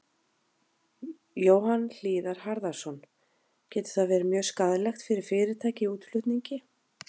Jóhann Hlíðar Harðarson: Getur það verði mjög skaðlegt fyrir fyrirtæki í útflutningi?